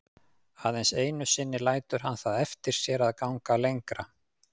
Aðeins einu sinni lætur hann það eftir sér að ganga lengra.